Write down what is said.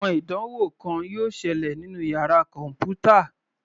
Àwọn ìdánwò kan yóò ṣẹlẹ̀ nínú yàrá kọ̀npútà.